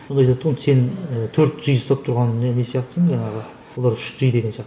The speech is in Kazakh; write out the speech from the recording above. сонда айтады да ол сен төрт джи ұстап тұрған не не сияқтысың жаңағы олар үш джи деген сияқты